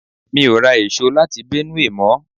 Mi ò ra èso láti Benue mọ̀ ọ.